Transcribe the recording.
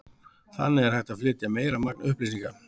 Þannig er hægt að flytja meira magn upplýsinga.